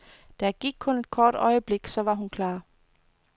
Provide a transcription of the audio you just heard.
Der gik kun et kort øjeblik, så var hun klar.